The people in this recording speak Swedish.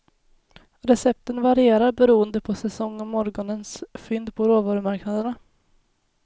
Recepten varierar beroende på säsong och morgonens fynd på råvarumarknaderna.